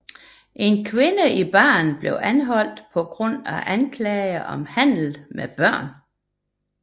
En kvinde i baren blev anholdt på grund af anklager om handel med børn